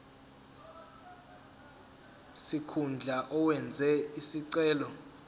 sikhundla owenze isicelo